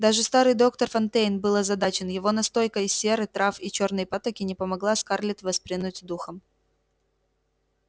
даже старый доктор фонтейн был озадачен его настойка из серы трав и чёрной патоки не помогала скарлетт воспрянуть духом